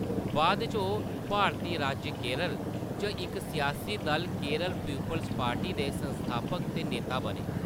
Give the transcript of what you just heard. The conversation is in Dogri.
बाद इच ओह्‌‌ भारती राज्य केरल च इक सियासी दल-केरल पीपुल्स पार्टी दे संस्थापक ते नेता बने।